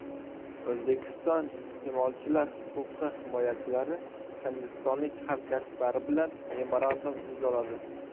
O‘zbekiston iste’molchilar huquqi himoyachilari hindistonlik hamkasblari bilan memorandum imzoladi.